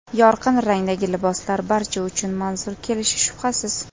Yorqin rangdagi liboslar barcha uchun manzur kelishi shubhasiz.